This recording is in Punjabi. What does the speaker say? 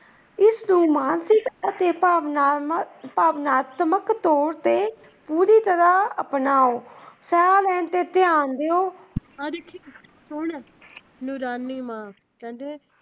ਇਸ ਨੂੰ ਮਾਨਸਿਕ ਅਤੇ ਭਾਵਨਾਤਮਿਕ ਤੌਰ ਤੇ ਪੂਰੀ ਤਰਹ ਅਪਣਾਓ। ਸਾਹ ਲੈਣ ਤੇ ਧਿਆਨ ਦਿਓ।